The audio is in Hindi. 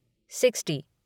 सिक्स्टी